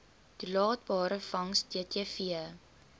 toelaatbare vangs ttv